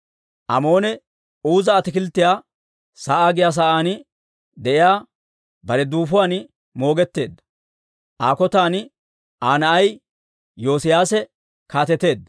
Amoone Uuza Ataakilttiyaa sa'aa giyaa sa'aan de'iyaa bare duufuwaan moogetteedda; Aa kotan Aa na'ay Iyoosiyaase kaateteedda.